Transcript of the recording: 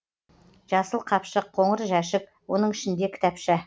жасыл қапшық қоңыр жәшік оның ішінде кітапша